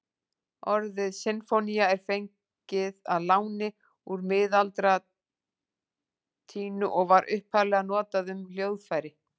Orðið sinfónía er fengið að láni úr miðaldalatínu og var upphaflega notað um hljóðfæri.